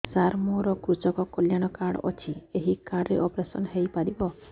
ସାର ମୋର କୃଷକ କଲ୍ୟାଣ କାର୍ଡ ଅଛି ଏହି କାର୍ଡ ରେ ଅପେରସନ ହେଇପାରିବ